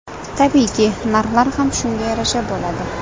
Tabiiyki, narxlar ham shunga yarasha bo‘ladi.